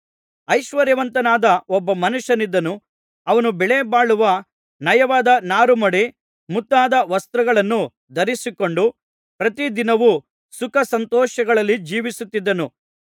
ಐಶ್ವರ್ಯವಂತನಾದ ಒಬ್ಬ ಮನುಷ್ಯನಿದ್ದನು ಅವನು ಬೆಲೆಬಾಳುವ ನಯವಾದ ನಾರುಮಡಿ ಮುಂತಾದ ವಸ್ತ್ರಗಳನ್ನು ಧರಿಸಿಕೊಂಡು ಪ್ರತಿದಿನವು ಸುಖಸಂತೋಷಗಳಲ್ಲಿ ಜೀವಿಸುತ್ತಿದ್ದನು